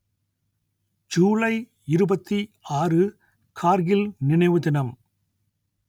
ஜூலை இருபத்தி ஆறு கார்கில் நினைவு தினம்